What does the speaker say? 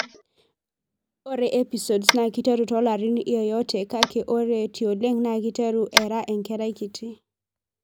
Ore Episodes na kiteru tolarin yeyote kake ore tioleng na kiteru era enkerai kiti.